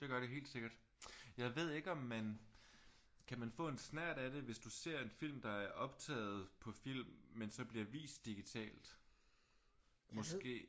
Det gør det helt sikkert. Jeg ved ikke om man kan man få en snert af det hvis du ser en film der er optaget på film men så bliver vist digitalt måske?